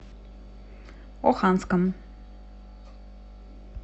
оханском